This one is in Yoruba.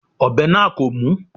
Ọ̀bẹ náà kò mú.